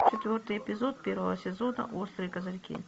четвертый эпизод первого сезона острые козырьки